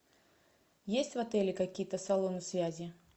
есть в отеле какие то салоны связи